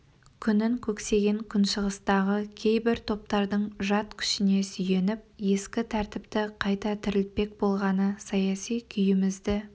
күнін көксеген күншығыстағы кейбір таптардың жат күшіне сүйеніп ескі тәртіпті кайта тірілтпек болғаны саяси күйімізді